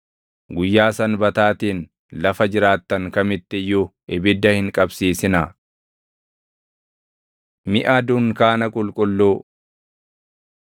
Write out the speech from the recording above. Guyyaa Sanbataatiin lafa jiraattan kamitti iyyuu ibidda hin qabsiisinaa.” Miʼa Dunkaana Qulqulluu 35:4‑9 kwf – Bau 25:1‑7 35:10‑19 kwf – Bau 39:32‑41